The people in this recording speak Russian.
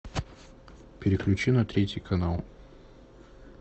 переключи на третий канал